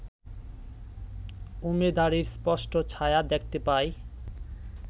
উমেদারির স্পষ্ট ছায়া দেখতে পাই